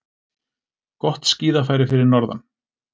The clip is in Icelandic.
Gott skíðafæri fyrir norðan